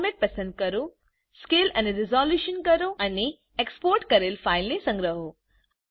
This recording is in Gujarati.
ફોરમેટ પસંદ કરો સ્કેલ અને રેસોલ્યુંશન કરો અને એક્સપોર્ટ કરેલ ફાઈલને સંગ્રહો